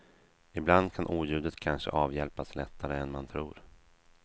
Ibland kan oljudet kanske avhjälpas lättare än man tror.